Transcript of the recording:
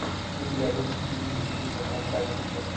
у тебя будет кинище типа фантастики